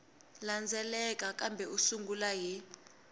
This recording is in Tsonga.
landzelaka kambe u sungula hi